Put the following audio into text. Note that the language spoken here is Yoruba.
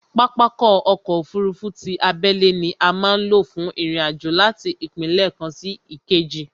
Pápákọ̀ ọ̀kọ òfurufú ti abẹ́lé ni a má ń lò fún ìrìn àjò láti ìpínlẹ̀ kan sí ìkejì